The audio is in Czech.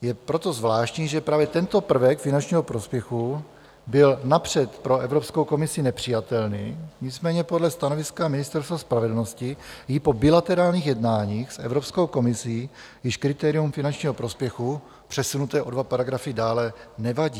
Je proto zvláštní, že právě tento prvek finančního prospěchu byl napřed pro Evropskou komisi nepřijatelný, nicméně podle stanoviska Ministerstva spravedlnosti jí po bilaterálních jednáních s Evropskou komisí již kritérium finančního prospěchu, přesunuté o dva paragrafy dále, nevadí.